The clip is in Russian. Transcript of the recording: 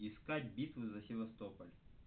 искать битву за севастополь